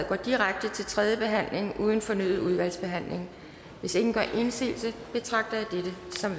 går direkte til tredje behandling uden fornyet udvalgsbehandling hvis ingen gør indsigelse betragter jeg dette som